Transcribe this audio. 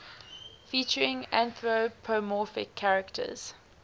featuring anthropomorphic characters